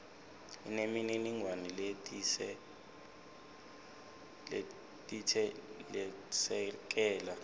inemininingwane letsite lesekela